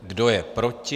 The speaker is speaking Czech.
Kdo je proti?